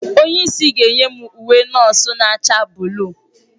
Onye isi ga-enye m uwe nọọsụ na-acha buluu.